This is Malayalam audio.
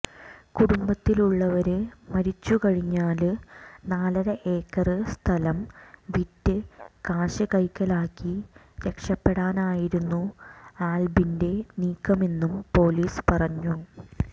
കുടുംബത്തിലുള്ളവര് മരിച്ചുകഴിഞ്ഞാല് നാലര ഏക്കര് സ്ഥലം വിറ്റ് കാശ് കൈക്കലാക്കി രക്ഷപ്പെടാനായിരുന്നു ആല്ബിന്റെ നീക്കമെന്നും പൊലീസ് പറഞ്ഞു